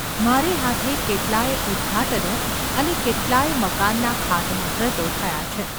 મારે હાથે કેટલાં યે ઉદ્‌ઘાટનો અને કેટલાં ય મકાનનાં ખાતમુહૂર્તો થયાં છે.